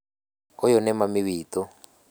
Ũyũ nĩ mami witũ